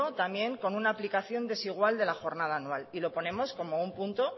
también con una aplicación desigual de la jornada anual y lo ponemos como un punto